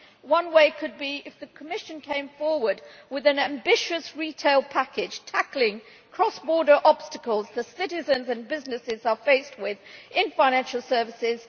One way could be if the Commission came forward with an ambitious retail package, tackling the cross border obstacles that citizens and businesses are faced with in financial services.